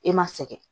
E ma sɛgɛn